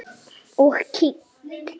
Og kyngt.